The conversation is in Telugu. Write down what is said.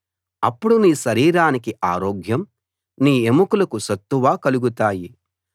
అప్పుడు నీ శరీరానికి ఆరోగ్యం నీ ఎముకలకు సత్తువ కలుగుతాయి